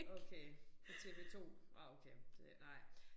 Okay på TV2 nåh okay det nej